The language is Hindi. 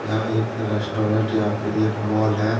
यह एक रेस्टोरेंट या फिर एक मोल है।